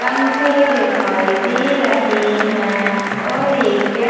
पंखे दिखाई दे रहै है और एक व्य --